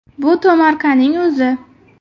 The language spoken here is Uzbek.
Bu tomorqaning o‘zi.